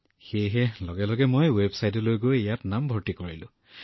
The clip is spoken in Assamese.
মই তেতিয়াই ৱেবছাইটলৈ গৈ ইয়াত নাম ভৰ্তি কৰিলো